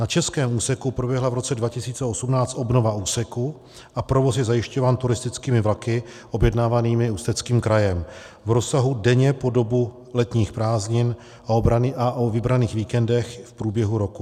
Na českém úseku proběhla v roce 2018 obnova úseku a provoz je zajišťován turistickými vlaky objednávanými Ústeckým krajem v rozsahu denně po dobu letních prázdnin a o vybraných víkendech v průběhu roku.